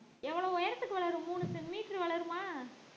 எவ்ளோ உயரத்துக்கு வரும் மூணு சென்~ metre உ வளருமா